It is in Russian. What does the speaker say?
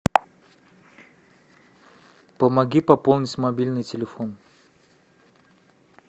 помоги пополнить мобильный телефон